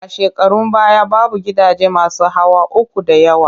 A shekarun baya, babu gidaje masu hawa uku da yawa